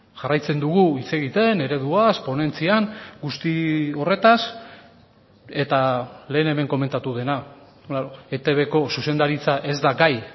jarraitzen dugu hitz egiten ereduaz ponentzian guzti horretaz eta lehen hemen komentatu dena etbko zuzendaritza ez da gai